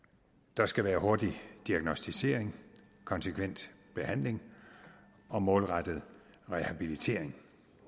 der skal være hurtig diagnosticering konsekvent behandling og målrettet rehabilitering